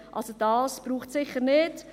Dies braucht es sicher nicht.